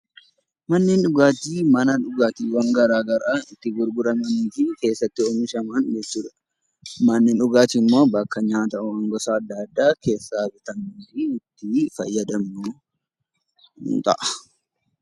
Manneen dhugaatii mana dhugaatii garaagaraa itti gurguramanii fi keessatti argaman jechuudha. Manneen dhugaatii immoo bakka dhugaatiiwwan garaagaraa fi nyaata garaagaraa keessatti argamanii fi namoonni baay'inaan deemanidha.